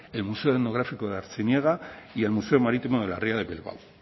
el museo etnográfico de artziniega y el museo marítimo de la ría de bilbao